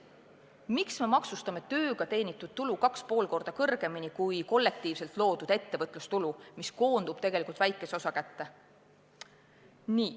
Miks me maksustame tööga teenitud tulu 2,5 korda kõrgemini kui kollektiivselt loodud ettevõtlustulu, mis koondub tegelikult väikese osa kätte?